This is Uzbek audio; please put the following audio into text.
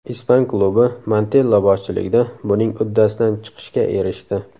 Ispan klubi Montella boshchiligida buning uddasidan chiqishga erishdi.